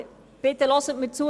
Aber hören Sie mir bitte zu!